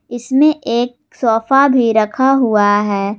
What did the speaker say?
इसमें एक सोफा भी रखा हुआ है।